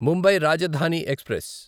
Mumbai Rajdhani express